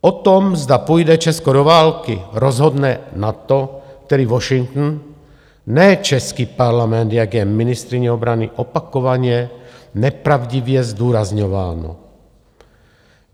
O tom, zda půjde Česko do války, rozhodne NATO, tedy Washington, ne český Parlament, jak je ministryní obrany opakovaně nepravdivě zdůrazňováno.